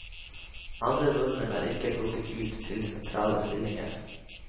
Andre nordmenn er ikke plukket ut til sentrale stillinger.